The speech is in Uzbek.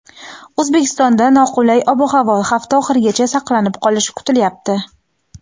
O‘zbekistonda noqulay ob-havo hafta oxirigacha saqlanib qolishi kutilyapti.